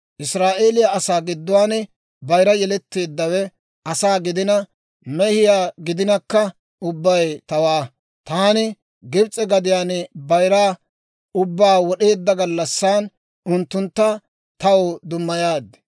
Israa'eeliyaa asaa gidduwaan bayira yeletteeddawe asaa gidina, mehiyaa gidinakka ubbay tawaa. Taani Gibs'e gadiyaan bayira ubbaa wod'eedda gallassan, unttuntta taw dummayaad.